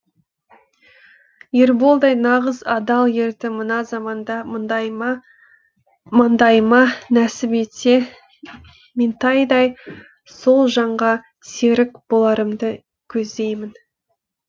ерболдай нағыз адал ерді мына заманда маңдайыма нәсіп етсе меңтайдай сол жанға серік боларымды көздеймін